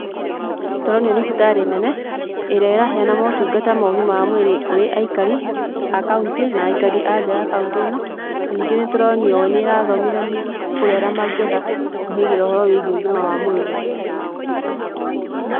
Tũronio thibitarĩ nene, ĩrĩa ĩraheyana motungata ma ũgima wa mwĩrĩ kũrĩ aikari a kauntĩ na aikari a nja wa kauntĩ ĩno. Na ningĩ nĩ tũronio nĩ ĩrathomithania kũrĩ arĩa ma ngĩenda kũhĩgĩra ũhoro wĩgiĩ ũgima wa mwĩrĩ.